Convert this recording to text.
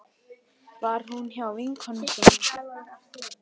Var hún hjá vinkonu sinni?